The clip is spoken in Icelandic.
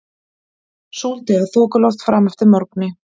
Súld eða þokuloft fram eftir morgni